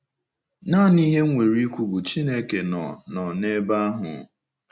Nanị ihe m nwere ikwu bụ Chineke nọ nọ n'ebe ahụ.